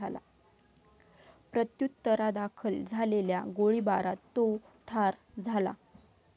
प्रत्युत्तरादाखल झालेल्या गोळीबारात तो ठार झाला.